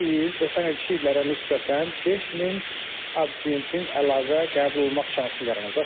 Bu il ötən ilki illərə nisbətən 5000 abituriyentin əlavə qəbul olmaq şansı yaranacaq.